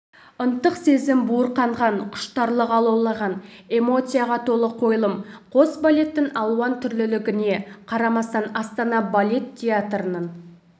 ынтық сезім буырқанған құштарлық алаулаған эмоцияға толы қойылым қос балеттің алуан түрлілігіне қарамастан астана балет театрының